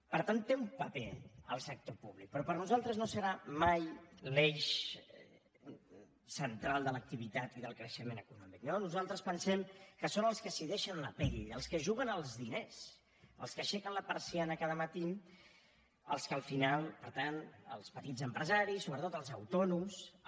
per tant hi té un paper el sector públic però per nosaltres no serà mai l’eix central de l’activitat i del creixement econòmic no nosaltres pensem que són els que s’hi deixen la pell els que es juguen els diners els que aixequen la persiana cada matí els que al final per tant els petits empresaris sobretot els autònoms